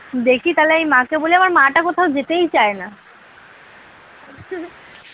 দেখি তাহলে আমার মাকে বলে আমার মাটা কোথাও যেতেই চায় না।